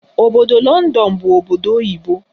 Obodo Lọndọn bụ obodo oyibo.